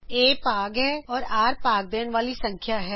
a ਭਾਗ ਹੈ ਅਤੇ r ਭਾਗ ਦੇਣ ਵਾਲੀ ਸੰਖਿਆ ਹੈ